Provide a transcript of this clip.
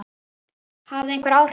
Hafði það einhver áhrif?